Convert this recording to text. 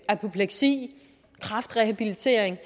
apopleksi kræftrehabilitering